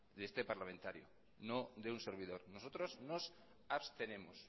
de este parlamentario no de un servidor nosotros nos abstenemos